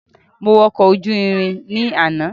Mo wọ ọkọ̀ ojú irin ní àná